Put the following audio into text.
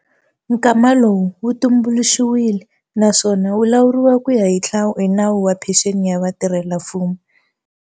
Nkwama lowu wu tumbuluxiwile, naswona wu lawuriwa ku ya hi Nawu wa Phenxeni ya Vatirhelamfumo.